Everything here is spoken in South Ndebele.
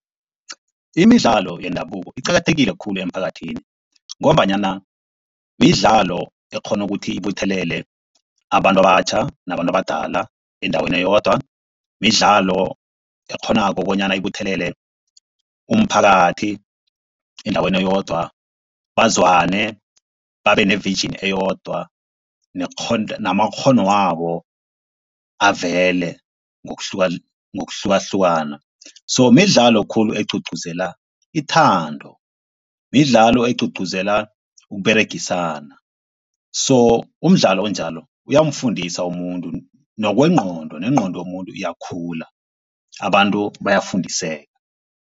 Imidlalo yendabuko iqakathekile khulu emphakathini ngombanyana midlalo ekghona ukuthi ibuthelele abantu abatjha nabantu abadala endaweni eyodwa. Midlalo ekghonako bonyana ibuthelele umphakathi endaweni eyodwa bazwane babe ne-vision eyodwa namakghonwabo avele ngokuhlukahlukana. So midlalo khulu egcugcuzela ithando, midlalo egcugcuzela ukUberegisana. So umdlalo onjalo, uyamfundisa umuntu nokwengqondo nengqondo yomuntu iyakhula abantu bayafundiseka.